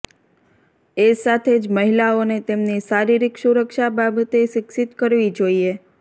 એ સાથે જ મહિલાઓને તેમની શારીરિક સુરક્ષા બાબતે શિક્ષિત કરવી જોઈએ